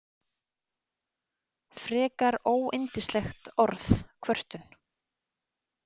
Frekar óyndislegt orð, kvörtun.